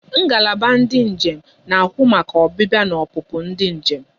Ngalaba ndị njem na ahụ maka ọbịbịa na opupu ndị njem